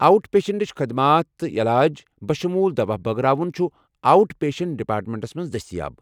Out پیشنٹٕچ خدمات تہٕ علاج، بشموُل دواہ بٲگراوُن، چھُ آؤٹ پیشنٹ ڈیپارٹمنٹَس مَنٛز دٔستِیاب۔